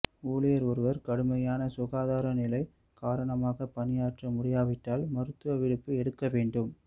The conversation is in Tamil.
ஊழியர் ஒரு கடுமையான சுகாதார நிலை காரணமாக பணியாற்ற முடியாவிட்டால் மருத்துவ விடுப்பு எடுக்க வேண்டும்